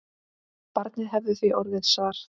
Barnið hefði því orðið svart.